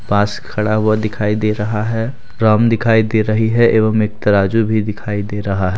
पास खड़ा हुआ दिखाई दे रहा है ड्रम दिखाई दे रही है एवं एक तराजु भी दिखाई दे रहा--